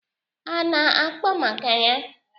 Ha ana-akpa maka ya?